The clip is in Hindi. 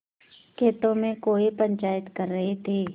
खेतों में कौए पंचायत कर रहे थे